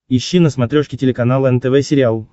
ищи на смотрешке телеканал нтв сериал